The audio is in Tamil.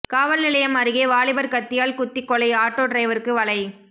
காவல்நிலையம் அருகே வாலிபர் கத்தியால் குத்திக் கொலை ஆட்டோ டிரைவருக்கு வலை